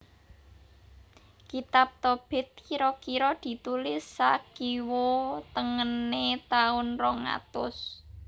Kitab Tobit kira kira ditulis sakiwa tengené taun rong atus